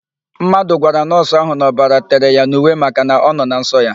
Mmadụ gwara nọọsụ ahụ na ọbara tere ya n'uwe makana ọ nọ na nsọ ya.